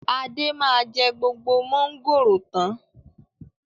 Adé máa jẹ gbogbo mọ̀ngòrò tán.